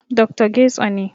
Dr. Getso ne